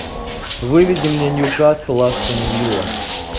выведи мне ньюкасл астон вилла